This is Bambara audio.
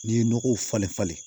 N'i ye nɔgɔw falen falen